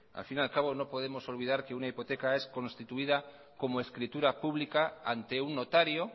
al fin y al cabo no podemos olvidar que una hipoteca es constituida como escritura pública ante un notario